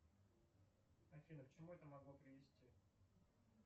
афина к чему это могло привести